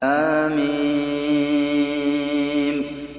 حم